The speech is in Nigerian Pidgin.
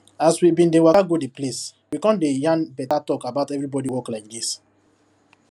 as we bin dey waka go di place we come dey yarn better talk about everybody work like this